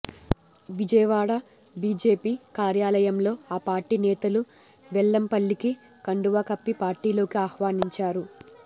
Vijayawada BJP కార్యాలయంలో ఆ party నేతలు వెల్లంపల్లికి కండువా కప్పి పార్టీలోకి ఆహ్వానించారు